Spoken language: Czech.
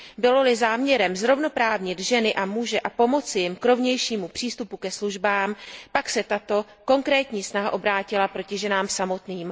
Bylo li záměrem zrovnoprávnit ženy a muže a pomoci jim k rovnějšímu přístupu ke službám, pak se tato konkrétní snaha obrátila proti ženám samotným.